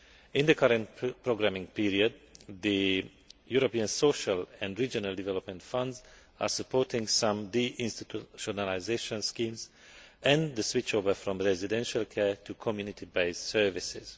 In the current programming period, the European Social and Regional Development Funds are supporting some de institutionalisation schemes and the switch over from residential care to community based services.